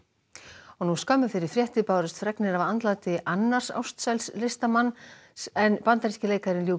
og nú skömmu fyrir fréttir bárust fregnir af andláti annars listamanns en bandaríski leikarinn